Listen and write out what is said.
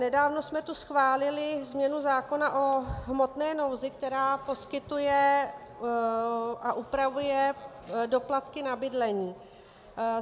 Nedávno jsme tu schválili změnu zákona o hmotné nouzi, která poskytuje a upravuje doplatky na bydlení.